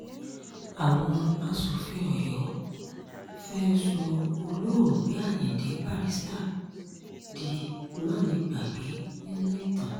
àwọn aṣòfin ọyọ́ fẹ́ẹ́ sọ olóògbé ayíǹde barrister di mánigbàgbé nínú ìtàn